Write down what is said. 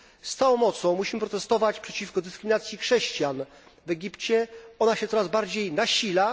Z całą mocą musimy protestować przeciwko dyskryminacji chrześcijan w Egipcie, ona się coraz bardziej nasila.